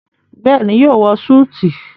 bẹẹni yóò wọ Súìtì.